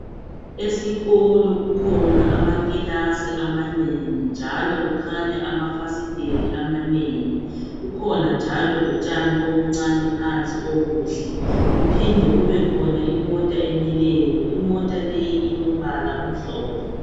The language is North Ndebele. Esikolo kukhona amakilasi amanengi, njalo kukhanya amafasiteli amanengi. Kukhona njalo lotshani obuncane phansi obuhle, kuphinde kubekhona imota emileyo. Imota eyi ilombala omhlophe.